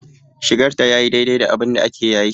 Shigar da tayi yayi daidai da abinda ake yayi.